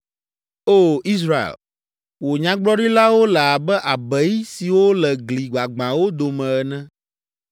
O Israel, wò nyagblɔɖilawo le abe abei siwo le gli gbagbãwo dome ene.